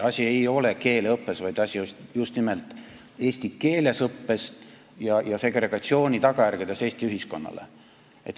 Asi ei ole keeleõppes, vaid asi on just nimelt eesti keeles õppimises ja segregatsiooni tagajärgedes Eesti ühiskonnale.